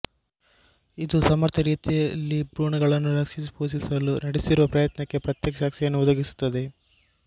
ಇದು ಸಮರ್ಥ ರೀತಿಯಲ್ಲಿ ಭ್ರೂಣಗಳನ್ನು ರಕ್ಷಿಸಿ ಪೋಷಿಸಲು ನಡೆಸಿರುವ ಪ್ರಯತ್ನಕ್ಕೆ ಪ್ರತ್ಯಕ್ಷ ಸಾಕ್ಷಿಯನ್ನು ಒದಗಿಸುತ್ತದೆ